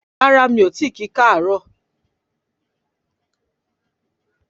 Rárá mi o ti ki kaaro